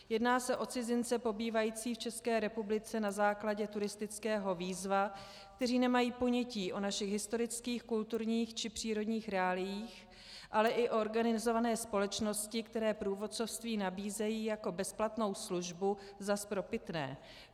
Jedná se o cizince pobývající v České republice na základě turistického víza, kteří nemají ponětí o našich historických, kulturních či přírodních reáliích, ale i o organizované společnosti, které průvodcovství nabízejí jako bezplatnou službu za spropitné.